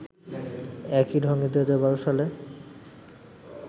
একই ঢঙে ২০১২ সালে